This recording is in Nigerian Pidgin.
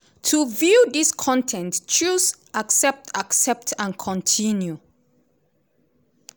to view dis con ten t choose 'accept 'accept and continue'.